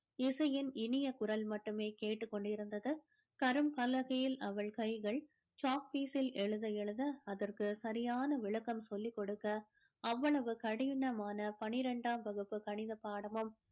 இசையின் இனிய குரல் மட்டுமே கேட்டுக் கொண்டிருந்தது கரும்பலகையில் அவள் கைகள் chalk piece ல் எழுத எழுத அதற்கு சரியான விளக்கம் சொல்லி கொடுக்க அவ்வளவு கடினமான பின்னிரெண்டாம் வகுப்பு கணித பாடமும்